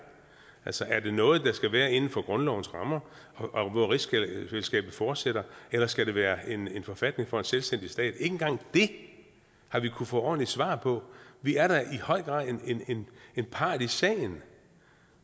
altså er det noget der skal være inden for grundlovens rammer og hvor rigsfællesskabet fortsætter eller skal det være en forfatning for en selvstændig stat ikke engang det har vi kunnet få ordentligt svar på vi er da i høj grad en part i sagen